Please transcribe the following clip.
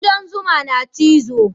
Kudan zuma na cizo